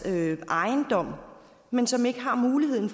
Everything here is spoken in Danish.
ejendom men som ikke har muligheden